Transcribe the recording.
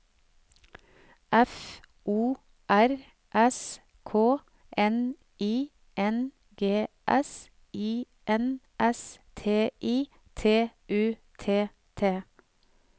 F O R S K N I N G S I N S T I T U T T